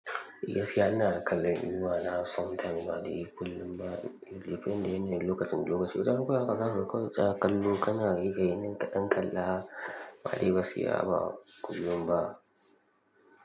Gaskiya ina ga kallon nima na san kai ma dai kullum ba, bai fi yanda yanayin lokacin lokaci. Wataran fa haka zaka ga kawai tsaya kallo kana riƙe min kaɗan kalla, amma dai gaskiya ba kullum ba.